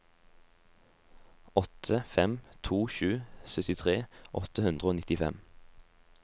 åtte fem to sju syttitre åtte hundre og nittifem